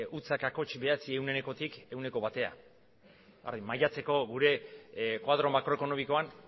cero coma nueve por cientotik ehuneko batera maiatzeko gure koadro makroekonomikoan